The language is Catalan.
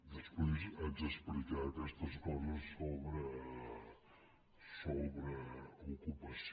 després haig d’explicar aquestes coses sobre ocupació